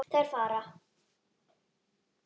Þeir fara.